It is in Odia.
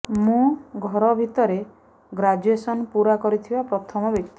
ମୁଁ ଘର ଭିତରେ ଗ୍ରାଜୁଏସନ୍ ପୂରା କରିଥିବା ପ୍ରଥମ ବ୍ୟକ୍ତି